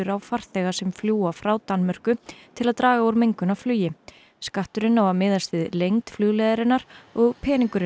á farþega sem fljúga frá Danmörku til að draga úr mengun af flugi skatturinn á að miðast við lengd flugleiðarinnar og